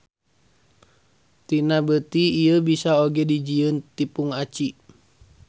Tina beuti ieu bisa oge dijieun tipung aci.